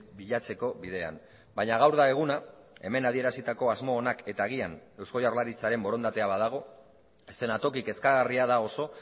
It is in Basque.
bilatzeko bidean baina gaur da eguna hemen adierazitako asmo onak eta agian eusko jaurlaritzaren borondatea badago eszenatoki kezkagarria da oso